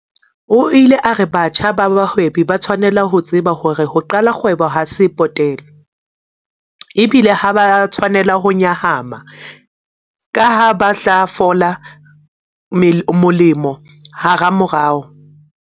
O ile a re batjha ba bahwebi ba tshwanela ho tseba hore ho qala kgwebo ha se potele, ebile ha ba a tshwanela ho nyahama kaha ba tla fola molemo hamamorao.